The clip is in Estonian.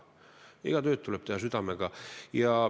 Iga tööd tuleb teha südamega.